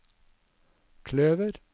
kløver